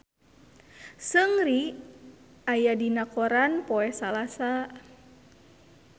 Seungri aya dina koran poe Salasa